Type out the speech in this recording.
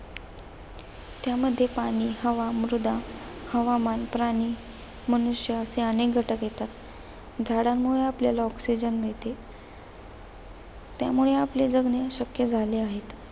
त्यामध्ये पाणी, हवा, मृदा, हवामान, प्राणी, मनुष्य असे अनेक घटक येतात. झाडांमुळे आपल्याला ऑक्सिजन मिळते. त्यामुळे आपले जगणे शक्य झाले आहे.